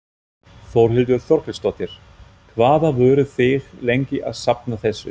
Þórhildur Þorkelsdóttir: Hvað voruð þið lengi að safna þessu?